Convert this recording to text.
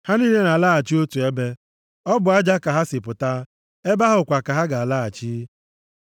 Ha niile na-alaghachi nʼotu ebe; ọ bụ nʼaja ka ha si pụta, ebe ahụ kwa ka ha ga-alaghachi.